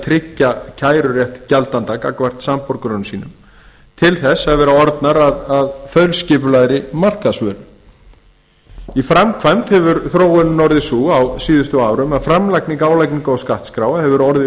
tryggja kærurétt gjaldenda gagnvart samborgurum sínum til þess að vera orðnar að þaulskipulagðri markaðsvöru í framkvæmd hefur þróunin orðið sú á síðustu árum að framlagning álagningar og skattskráa hefur orðið